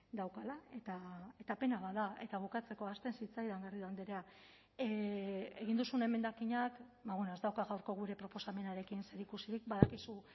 daukala eta pena bat da eta bukatzeko ahazten zitzaidan garrido andrea egin duzun emendakinak ez dauka gaurko gure proposamenarekin zerikusirik badakizu